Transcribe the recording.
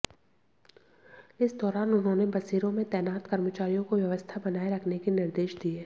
इस दौरान उन्होंने बसेरों में तैनात कर्मचारियों को व्यवस्था बनाए रखने के निर्देश दिए